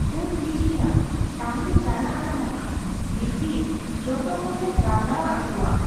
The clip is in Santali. ᱚ ᱴᱷᱤᱠᱜᱮᱭᱟ ᱛᱟᱦᱚᱞᱮ ᱪᱟᱞᱟᱜ ᱟᱞᱮ ᱱᱟᱦᱟᱜ ᱢᱤᱫ ᱫᱤᱱ ᱡᱚᱛᱚ ᱦᱚᱲᱞᱮ ᱜᱟᱞᱢᱟᱨᱟᱣ ᱟᱠᱩᱣᱟ ᱾